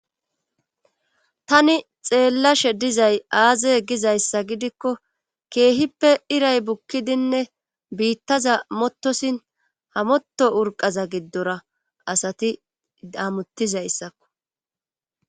Tani xeellashe dizay aaze gizayssa gidikko keehippe iray bukkidinne biittaza mottosin hamotto urqaza giddora asati daamuttizayssakko.